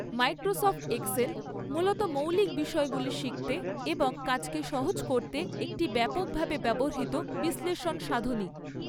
Microsoft Excel মূলত মৌলিক বিষয়গুলি শিখতে এবং কাজকে সহজ করতে একটি ব্যাপকভাবে ব্যবহৃত বিশ্লেষণ সাধনী।